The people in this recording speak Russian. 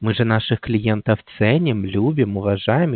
мы же наших клиентов ценим любим уважаем